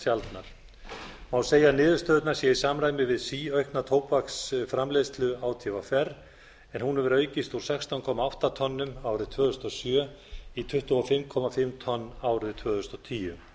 sjaldnar má segja að niðurstöðurnar séu í samræmi við síaukna tóbaksframleiðslu átvr en hún hefur aukist úr sextán komma átta tonnum árið tvö þúsund og sjö í tuttugu og fimm og hálft tonn árið tvö þúsund og tíu